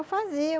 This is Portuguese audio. Eu fazia.